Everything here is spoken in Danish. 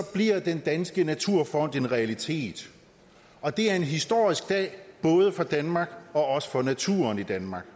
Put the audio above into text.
bliver den danske naturfond en realitet og det er en historisk dag både for danmark og også for naturen i danmark